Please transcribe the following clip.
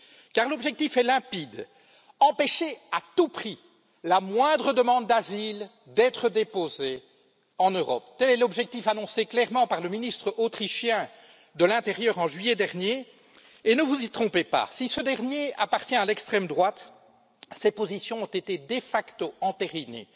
Car l'objectif est limpide empêcher à tout prix la moindre demande d'asile d'être déposée en Europe. Tel est l'objectif annoncé clairement par le ministre autrichien de l'intérieur en juillet dernier. Et ne vous y trompez pas si ce dernier appartient à l'extrême droite, ses positions ont été de facto entérinées